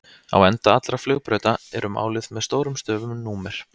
Á enda allra flugbrauta eru máluð með stórum stöfum númer.